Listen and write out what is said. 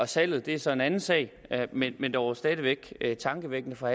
salget det er så en anden sag men men dog stadig væk tankevækkende for